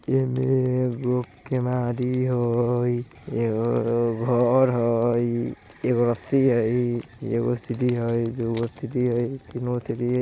ए में एगो केवाड़ी हइ एगो घर हइ एगो रस्सी हइ एगो सीड़ी हइ दुगो सीड़ी हइ तीनगो सीड़ी हइ।